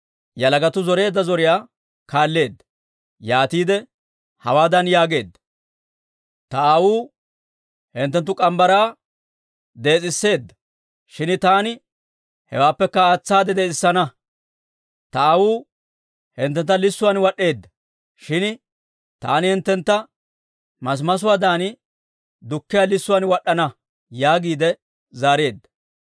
yalagatuu zoreedda zoriyaa kaalleedda. Yaatiide hawaadan yaageedda; «Ta aawuu hinttenttu morgge mitsaa dees'iseedda; shin taani hewaappekka aatsaade dees'isana. Ta aawuu hinttentta lissuwaan wad'd'eedda; shin taani hinttentta masimasuwaadan dukkiyaa lissuwaan wad'd'ana» yaagiide zaareedda.